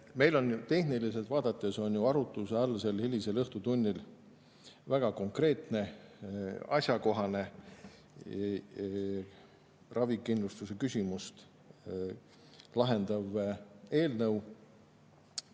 Meil on sel hilisel õhtutunnil arutluse all tehniliselt vaadates ju väga konkreetne ja asjakohane ravikindlustuse küsimust lahendav eelnõu.